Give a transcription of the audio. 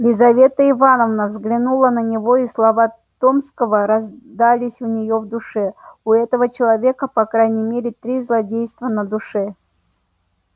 лизавета ивановна взглянула на него и слова томского раздались у нее в душе у этого человека по крайней мере три злодейства на душе